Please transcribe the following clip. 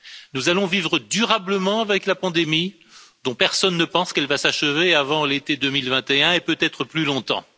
Nous allons vivre durablement avec la pandémie dont personne ne pense qu'elle va s'achever avant l'été 2021 et peut être plus longtemps.